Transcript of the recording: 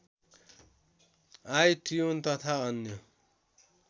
iTune तथा अन्य